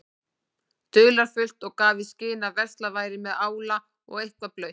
dularfullt og gaf í skyn að verslað væri með ála og eitthvað blautt.